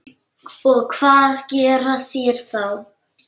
Og hvað gera þeir þá?